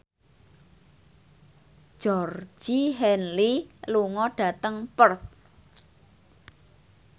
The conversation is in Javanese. Georgie Henley lunga dhateng Perth